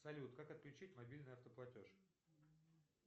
салют как отключить мобильный автоплатеж